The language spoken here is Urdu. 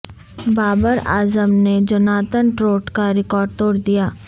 بابر اعظم نے جوناتھن ٹروٹ کا ریکارڈ توڑ دیا